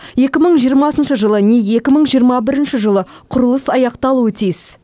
екі мың жиырмасыншы жылы не екі мың жиырма бірінші жылы құрылыс аяқталуы тиіс